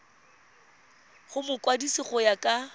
go mokwadise go ya ka